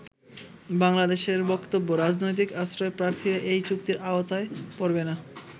বাংলাদেশের বক্তব্য " রাজনৈতিক আশ্রয়প্রার্থীরা এই চুক্তির আওতায় পরবে না।